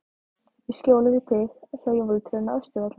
Í skjóli við þig, hjá jólatrénu á Austurvelli.